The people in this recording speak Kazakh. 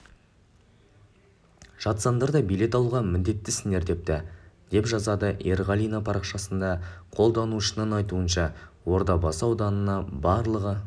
жатсаңдар да билет алуға міндеттісіңдер депті деп жазады ерғалина парақшасында қолданушының айтуынша ордабасы ауданына барлығы